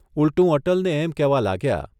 ઊલટું અટલને એમ કહેવા લાગ્યા.